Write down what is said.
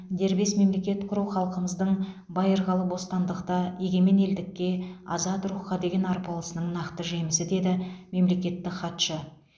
дербес мемлекет құру халқымыздың байырқалы бостандыққа егемен елдікке азат рухқа деген арпалысының нақты жемісі деді мемлекеттік хатшы